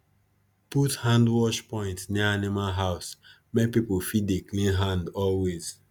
put hand wash point near animal house make people fit dey clean hand always